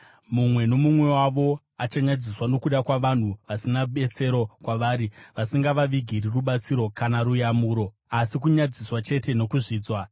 mumwe nomumwe wavo achanyadziswa nokuda kwavanhu vasina betsero kwavari, vasingavavigiri rubatsiro kana ruyamuro, asi kunyadziswa chete nokuzvidzwa.”